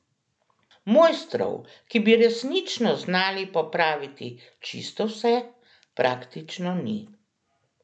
Mojstrov, ki bi resnično znali popraviti čisto vse, praktično ni.